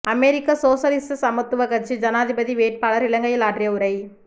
அமெரிக்க சோசலிச சமத்துவக் கட்சி ஜனாதிபதி வேட்பாளர் இலங்கையில் ஆற்றிய உரை